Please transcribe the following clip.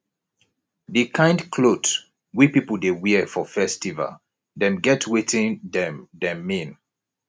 di kind clot we pipu dey wear for festival dem get wetin dem dem mean